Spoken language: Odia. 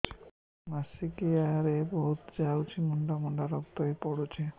ମାସିକିଆ ରେ ବହୁତ ଯାଉଛି ମୁଣ୍ଡା ମୁଣ୍ଡା ରକ୍ତ ବି ପଡୁଛି